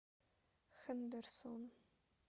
хендерсон